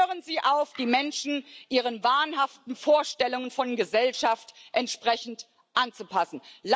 Hören Sie auf, die Menschen Ihren wahnhaften Vorstellungen von Gesellschaft entsprechend anzupassen.